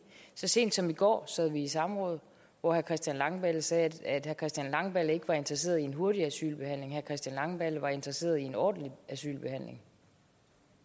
så sent som i går sad vi i samråd hvor herre christian langballe sagde at herre christian langballe ikke var interesseret i en hurtigere asylbehandling herre christian langballe var interesseret i en ordentlig asylbehandling